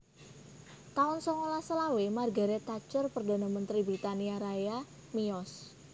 taun songolas selawe Margaret Thatcher Perdana Mentri Britania Raya miyos